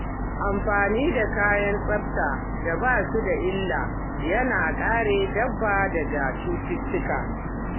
Amfani da kayan tsafta da ba su da illa yana kare dabba daga cututtuka.